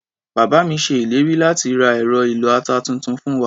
Bàbá mi ṣe ìlérí láti ra ẹ̀rọ ìlọ-ata tuntun fún wa.